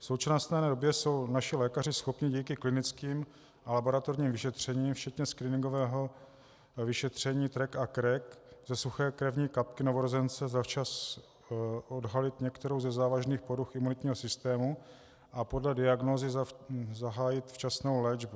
V současné době jsou naši lékaři schopni díky klinickým a laboratorním vyšetřením včetně screeningového vyšetření TREC a KREC ze suché krevní kapky novorozence zavčas odhalit některou ze závažných poruch imunitního systému a podle diagnózy zahájit včasnou léčbu.